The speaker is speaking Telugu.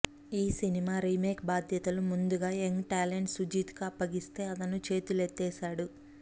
ఈ సినిమా రీమేక్ బాధ్యతలు ముందుగా యంగ్ టాలెంట్ సుజిత్ కి అప్పగిస్తే అతను చేతులెత్తేశాడు